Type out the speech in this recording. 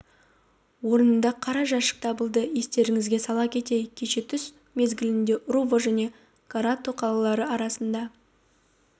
орнында қара жәшік табылды естеріңізге сала кетейік кеше түс мезгілінде руво және корато қалалары арасында